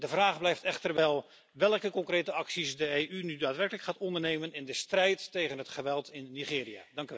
De vraag blijft echter wel welke concrete acties de EU nu daadwerkelijk gaat ondernemen in de strijd tegen het geweld in Nigeria.